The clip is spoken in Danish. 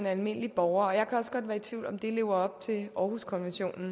almindelig borger og jeg kan også godt være i tvivl om det lever op til århuskonventionen